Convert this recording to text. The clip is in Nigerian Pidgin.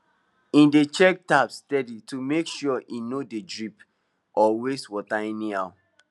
he dey check tap steady to make sure e no dey drip or waste water anyhow